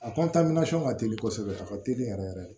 A ka teli kosɛbɛ a ka teli yɛrɛ yɛrɛ